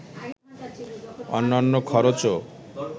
অন্যান্য খরচও